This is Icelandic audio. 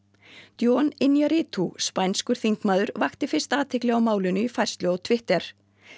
jon Inarritu spænskur þingmaður vakti fyrst athygli á málinu í færslu á Twitter